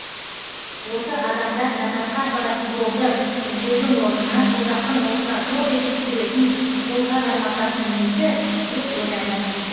осы адамдар жәннатқа апаратын жолды іздеудің орнына тозақтың отына топ етіп түсіретін қолға жармасатыны несі деп ойланам кейде